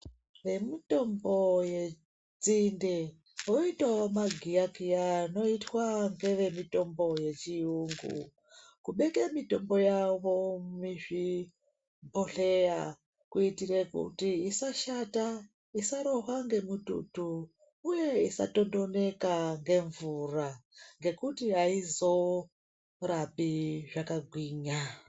Vemitombo yenzinde voitawo magiyakiya anoitwa ngevemitombo yechiyungu kubeke mitombo yavo muzvibhedhleya kuitire kuti isashata, isarohwa ngemututu uye isatondoneka ngemvura ngekuti aizorapi zvakagwinya.